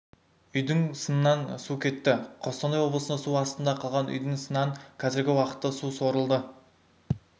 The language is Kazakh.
үйдің сынан су кетті қостанай облысында су астында қалған үйдің сынан қазіргі уақытта су сорылды